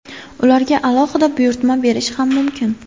Ularga alohida buyurtma berish ham mumkin.